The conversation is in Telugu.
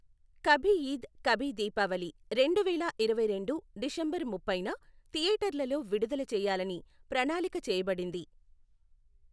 కభీ ఈద్ కభీ దీపావళి రెండు వేల ఇరవైరెండు డిసెంబర్ ముప్పైన థియేటర్లలో విడుదల చేయాలని ప్రణాళిక చేయబడింది.